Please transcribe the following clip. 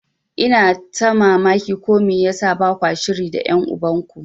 Ina ta mamaki ko me yasa bakwa shiri da ƴan uban ku.